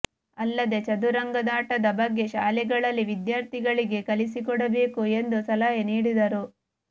ಅಲ್ಲದೆ ಚದುರಂಗದಾಟದ ಬಗ್ಗೆ ಶಾಲೆಗಳಲ್ಲಿ ವಿದ್ಯಾರ್ಥಿಗಳಿಗೆ ಕಲಿಸಿಕೊಡಬೇಕು ಎಂದು ಸಲಹೆ ನೀಡಿದರು